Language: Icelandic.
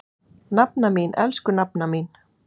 Nafna mín, elsku nafna mín.